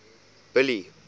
billy